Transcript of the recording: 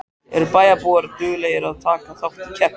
Eru bæjarbúar duglegir að taka þátt í keppninni?